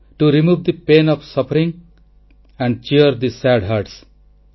to remove the pain and suffering and cheer the sad hearts